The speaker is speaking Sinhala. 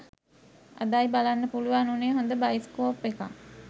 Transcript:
අදයි බලන්න පුලුවන් වුනේ හොද බයිස්කෝප් එකක්